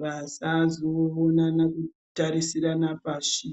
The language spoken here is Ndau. vasazoonana nekutarisirana pashi